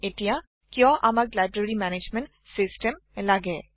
এটিয়া কিয় আমাক লাইব্ৰেৰী মেনেজমেণ্ট চিচটেম লাগে